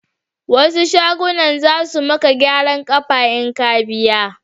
Wasu shagon za su maka gyaran kafa in ka biya